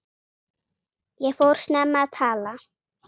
Ég fór snemma að tala.